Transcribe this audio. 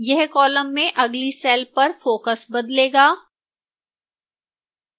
यह column में अगली cell पर focus बदलेगा